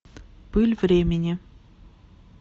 пыль времени